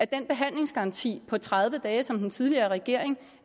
den behandlingsgaranti på tredive dage som den tidligere regering